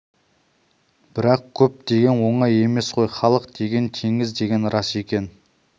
бірақ көп деген оңай емес қой халық деген теңіз деген рас екен